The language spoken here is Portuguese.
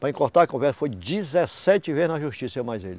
Para encurtar a conversa, foi dezessete vezes na Justiça, eu mais ele.